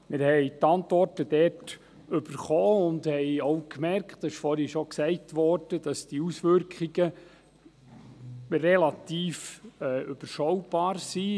Wir erhielten die Antworten, und ich merkte – dies wurde vorhin gesagt –, dass diese Auswirkungen relativ überschaubar sind.